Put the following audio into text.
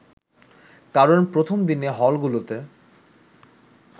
কারণ প্রথমদিনে হলগুলোতে